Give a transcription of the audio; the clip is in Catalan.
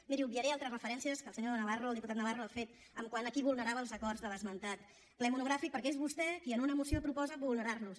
miri obviaré altres diferències que el senyor navarro el diputat navarro ha fet quant a qui vulnerava els acords de l’esmentat ple monogràfic perquè és vostè qui en una moció proposa vulnerarlos